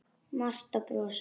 Marta brosir.